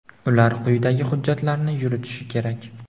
ular quyidagi hujjatlarni yuritishi kerak:.